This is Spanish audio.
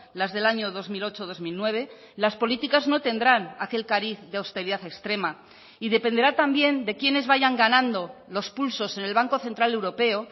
las del año dos mil ocho dos mil nueve las políticas no tendrán aquel cariz de austeridad extrema y dependerá también de quiénes vayan ganando los pulsos en el banco central europeo